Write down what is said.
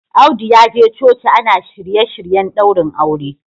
Audu ya je coci ana shirye-shiryen daurin aure